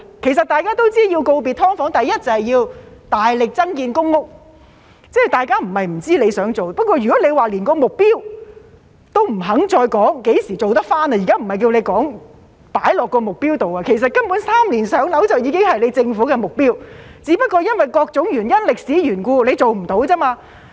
其實大家也知道，要告別"劏房"，第一就要大力增建公屋，大家不是不知局長想做，但如果連何時做得到的目標也不肯再說......現在不是叫局長定下目標，根本"三年上樓"已經是政府的目標，只不過因為各種原因及歷史緣故做不到而已。